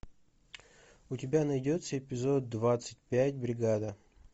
у тебя найдется эпизод двадцать пять бригада